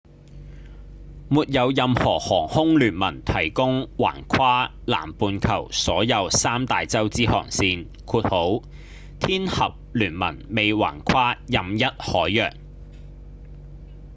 沒有任何航空聯盟提供橫跨南半球所有三大洋之航線天合聯盟未橫跨任一海洋